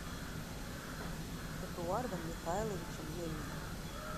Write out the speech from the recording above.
эдуардом михайловичем мельником